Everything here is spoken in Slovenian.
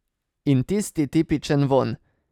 In tisti tipičen vonj.